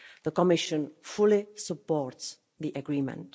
The Commission fully supports the agreement.